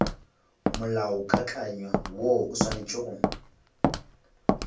molaokakanywa woo o swanetše go